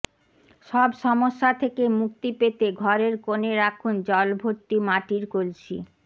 সব সমস্যা থেকে মুক্তি পেতে ঘরের কোণে রাখুন জলভর্তি মাটির কলসি